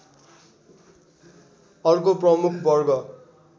अर्को प्रमुख वर्ग